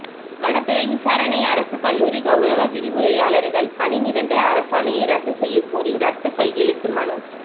வனத்துறை விசாரணை அரசுக் கல்லூரி கவுரவ விரிவுரையாளர்கள் பணி நிரந்தர அரசாணையை ரத்து செய்ய கோரி ரத்த கையெழுத்து மனு